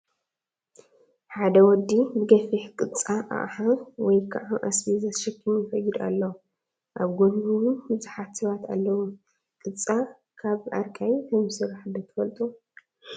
ሓደ ወዲ ብገፊሕ ቅፃ ኣቕሓ ወይ ከዓ ኣስቤዛ ተሸኪሙ ይኸይድ ኣሎ፡፡ ኣብ ጎኑ ውን ብዙሓት ሰባት ኣለው፡፡ ቅፃ ካብ ኣርቃይ ከምዝስራሕ ዶ ትፈልጡ?